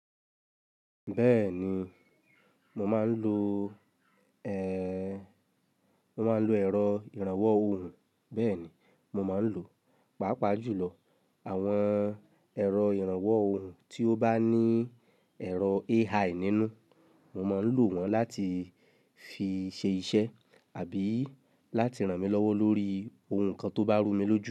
Bẹ́ẹ̀ni, mo máa ń lo, ẹ́, mo máa ń lo ẹ̀rọ ìrànwọ́ ohùn. Bẹ́ẹ̀ni mo máa ń lò, pàápàá jùlọ àwọn ẹ̀rọ ìrànwọ́ ohùn tí ó bá ní ẹ̀rọ AI nínú. Mo má ń lò wọ́n láti fi ṣe iṣẹ́ àbí láti ràn mí lọ́wọ́ lórí ohun kan tó bá rú mi lójú.